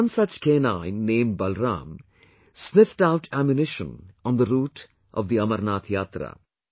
One such canine named Balaram sniffed out ammunition on the route of the Amarnath Yatra